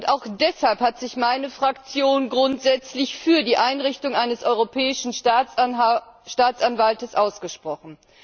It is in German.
Und auch deshalb hat sich meine Fraktion grundsätzlich für die Einrichtung eines Europäischen Staatsanwalts ausgesprochen.